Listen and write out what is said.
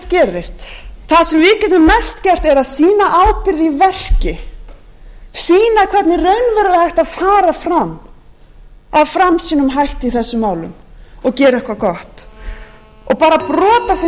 gerist það sem við getum mest gert er að sýna ábyrgð í verki sýna hvernig raunverulega er hægt að fara fram af framsýnum hætti í þessum málum og gera eitthvað bara brot af þeim fjármunum sem er verið að